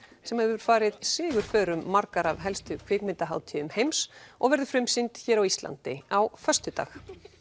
sem hefur farið sigurför um margar af helstu kvikmyndahátíðum heims og verður frumsýnd hér á Íslandi á föstudag